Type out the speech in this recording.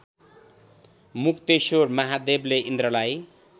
मुक्तेश्वर महादेवले इन्द्रलाई